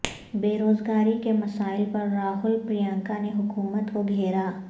بے روزگاری کے مسائل پر راہل پرینکا نے حکومت کو گھیرا